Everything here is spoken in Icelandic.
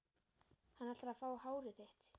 Hann ætlar að fá hárið þitt.